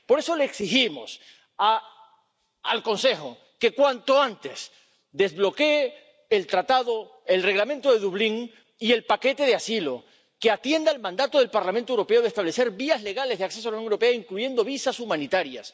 Por eso le exigimos al Consejo que, cuanto antes, desbloquee el Tratado, el Reglamento de Dublín y el paquete de asilo, que atienda el mandato del Parlamento Europeo de establecer vías legales de acceso a la Unión Europea, incluyendo visados humanitarios.